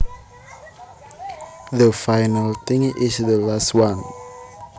The final thing is the last one